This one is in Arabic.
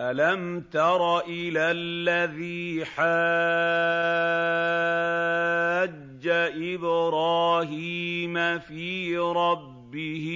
أَلَمْ تَرَ إِلَى الَّذِي حَاجَّ إِبْرَاهِيمَ فِي رَبِّهِ